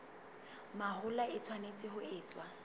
mahola e tshwanetse ho etswa